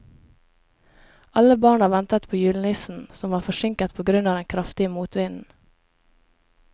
Alle barna ventet på julenissen, som var forsinket på grunn av den kraftige motvinden.